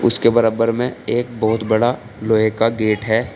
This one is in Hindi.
उसके बरब्बर में एक बहुत बड़ा लोहे का गेट है।